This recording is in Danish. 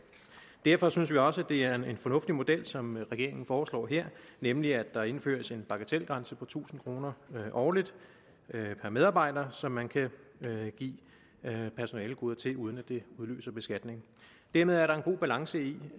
derfor synes vi også det er en fornuftig model som regeringen foreslår her nemlig at der indføres en bagatelgrænse på tusind kroner årligt per medarbejder så man kan give personalegoder til medarbejderne uden at det udløser beskatning dermed er der en god balance i